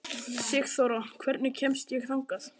Sigþóra, hvernig kemst ég þangað?